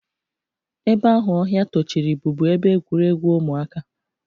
Ebe ahụ ọhịa tochiri bụbu ebe egwuregwu ụmụaka.